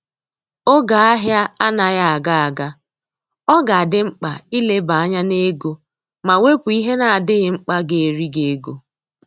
Oge ahia anaghị aga aga, ọ ga adị mkpa ileba anya n'ego ma wepu ihe na adịghị mkpa ga eri gị ego